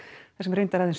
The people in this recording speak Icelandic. þar sem reyndar aðeins